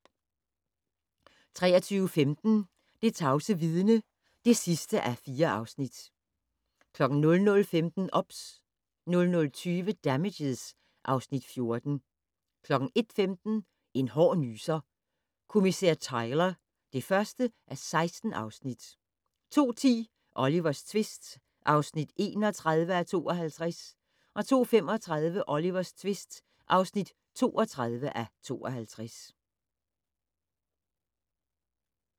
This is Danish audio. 23:15: Det tavse vidne (4:4) 00:15: OBS 00:20: Damages (Afs. 14) 01:15: En hård nyser: Kommissær Tyler (1:16) 02:10: Olivers tvist (31:52) 02:35: Olivers tvist (32:52)